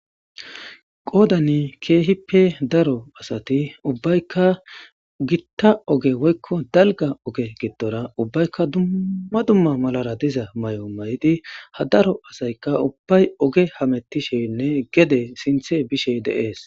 qoodani keehippe daro asati ubbaykka gitta oge woykko dalga oge giddora ubbaykka dumma dumma malara diza mayo mayidi ha daro asayka ubbay oge hamettishenne gede sinthe bishe de7ees.